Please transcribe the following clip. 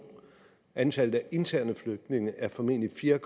antallet af interne flygtninge er formentlig fire